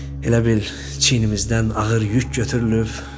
Elə bil çiynimizdən ağır yük götürülüb.